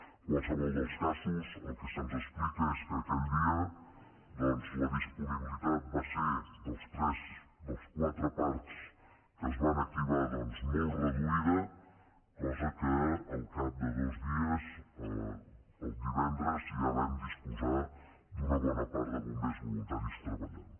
en qualsevol dels casos el que se’ns explica és que aquell dia la disponibilitat va ser dels quatre parcs que es van activar doncs molt reduïda cosa que al cap de dos dies el divendres ja vam disposar d’una bona part de bombers voluntaris treballant